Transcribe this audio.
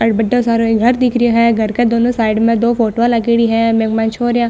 अठे बढ़ो सारो घर दिख रियो है घर के दोनों साइड में दो फोटो लागेड़ी है बीके माय छोरिया --